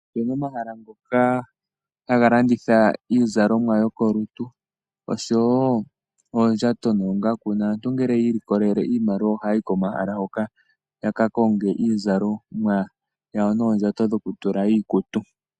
Ope na omahala ngoka ha ga landitha iizalomwa yokolutu, osho woo oondjato noongaku, naantu ngele yi ilikolele, iimaliwa oha ya yi komahala hoka, ya ka konge iizalomwa noondjato dho ku tula iikutu.